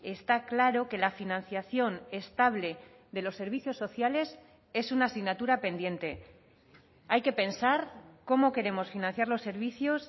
está claro que la financiación estable de los servicios sociales es una asignatura pendiente hay que pensar cómo queremos financiar los servicios